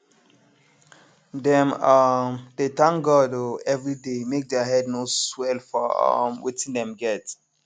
dem um dey thank god um everyday make thier head no swell for um wetin dem get